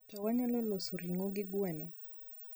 to wanyalo loso ringo gi gweno